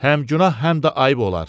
Həm günah həm də ayıb olar.